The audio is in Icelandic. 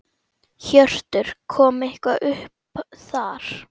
Hjörtur: Kom eitthvað upp þar?